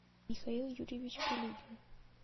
михаил юрьевич пилюгин